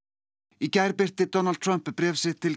í gær birti Donald Trump bréf sitt til